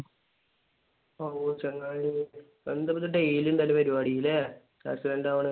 ഓഹ് ചങ്ങായിയെ. എന്താ ഇപ്പൊ ഇത് daily ഇതന്നെ പരിപാടി. അല്ലെ? accident ആവണ്.